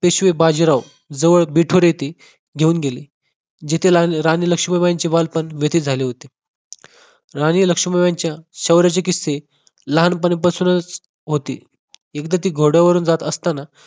पेशवे बाजीराव जवळ बिठोर येथे घेऊन गेले जिथे राणी लक्ष्मीबाईंचे बालपण व्यतीत झाले होते राणी लक्ष्मीबाई च्या शौर्याची किस्से लहानपणीपासूनच होते एकदा ती घोड्यावरून जात असताना